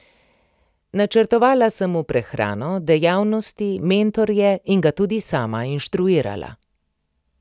Načrtovala sem mu prehrano, dejavnosti, mentorje in ga tudi sama inštruirala.